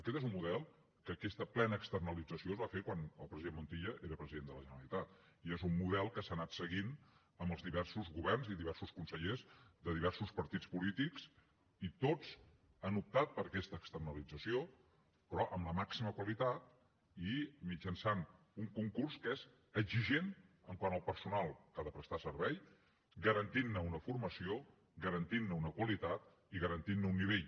aquest és un model en què aquesta plena externalització es va fer quan el president montilla era president de la generalitat i és un model que s’ha anat seguint amb els diversos governs i diversos consellers de diversos partits polítics i tots han optat per aquesta externalització però amb la màxima qualitat i mitjançant un concurs que és exigent quant al personal que ha de prestar el servei garantint ne una formació garantint ne una qualitat i garantint ne un nivell